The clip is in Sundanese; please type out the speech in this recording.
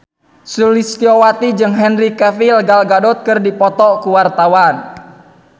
Sulistyowati jeung Henry Cavill Gal Gadot keur dipoto ku wartawan